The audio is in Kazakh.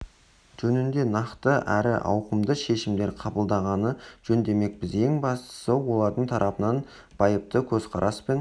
жөнінде нақты әрі ауқымды шешімдер қабылдағаны жөн демекпіз ең бастысы олардың тарапынан байыпты көзқарас пен